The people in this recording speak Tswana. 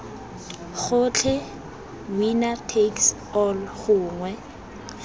gotlhe winner takes all gongwe